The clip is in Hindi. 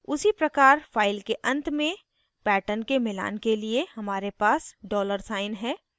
उसी प्रकार file के अंत में pattern के मिलान के लिए हमारे पास dollar साइन है